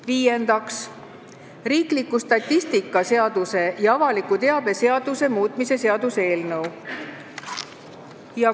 Viiendaks, riikliku statistika seaduse ja avaliku teabe seaduse muutmise seaduse eelnõu.